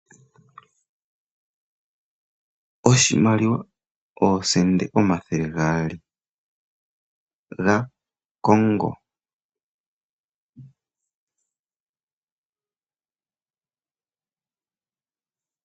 Oshimaliwa oosende omathele gaali dha kongo.